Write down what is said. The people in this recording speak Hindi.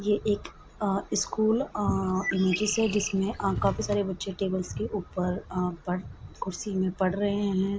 ये एक अ स्कूल अ इमेजस हैं जिसमें काफी अ सारे बच्चे टेबल्स के ऊपर अ पढ़ कुर्सी में पढ़ रहे हैं।